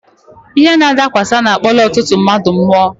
Ihe nadakwasa na-akpọla ọtụtụ ndị mmadụ mụọ.